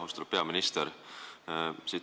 Austatud peaminister!